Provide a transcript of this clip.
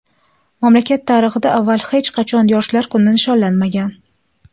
Mamlakat tarixida avval hech qachon yoshlar kuni nishonlanmagan.